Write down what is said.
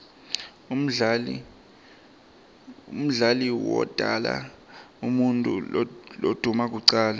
umdali wodala umuutfu lomdouna kucala